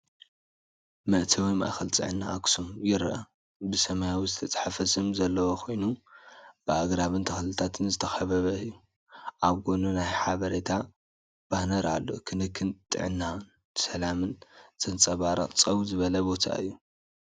መእተዊ “ማእከል ጥዕና ኣክሱም” ይርአ። ብሰማያዊ ዝተጻሕፈ ስም ዘለዎ ኮይኑ፡ ብኣግራብን ተኽልታትን ዝተኸበበ እዩ። ኣብ ጎኑ ናይ ሓበሬታ ባነር ኣሎ። ክንክን ጥዕናን ሰላምን ዘንጸባርቕ ፀው ዝበለ ቦታ እዩ።